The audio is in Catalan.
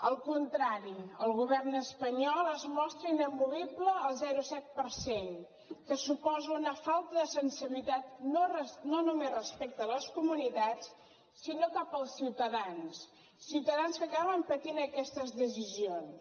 al contrari el govern espanyol es mostra inamovible al zero coma set per cent que suposa una falta de sensibilitat no només respecte a les comunitats sinó cap als ciutadans ciutadans que acaben patint aquestes decisions